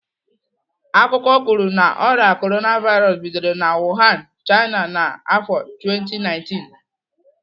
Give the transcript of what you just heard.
Akụkọ kwuru na ọrịa Korona vairos bidoro na Wuhan, China n'afọ 2019.